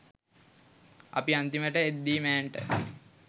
අපි අන්තිමට එද්දි මෑන්ට